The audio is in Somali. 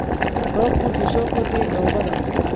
Roobku wuxuu soo kordhiyey dhoobada